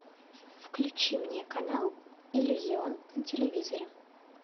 включи мне канал иллюзион на телевизоре